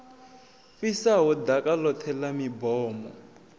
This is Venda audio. fhisaho ḓaka ḽoṱhe ḽa mibomo